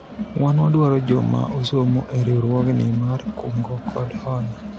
wan wadwaro joma osomo e riwruogni mar kungo kod hola